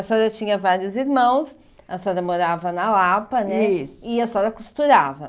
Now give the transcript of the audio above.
A senhora tinha vários irmãos, a senhora morava na Lapa né isso e a senhora costurava.